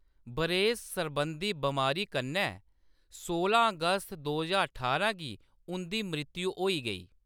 बरेस सरबंधी बमारी कन्नै सोलां अगस्त दो ज्हार ठारां गी उंʼदी मृत्यु होई गेई।